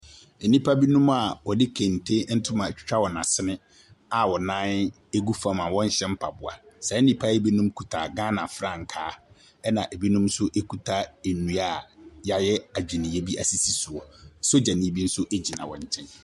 Nnipa binom a wɔde kente atwitwa wɔn asene a wɔn nan gu fam a wɔnhyɛ mpaboa. Saa nnipa yi binom kuta Ghana frankaa, ɛnna binom nso kuta nnua a wɔayɛ adwinneɛ bi asisi soɔ. Sogyani bi nso gyina wɔn nkyɛn.